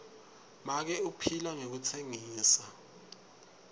make uphila ngekutsengisa